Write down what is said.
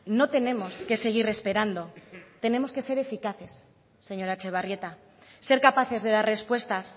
no tenemos que seguir esperando tenemos que ser eficaces señora etxebarrieta ser capaces de dar respuestas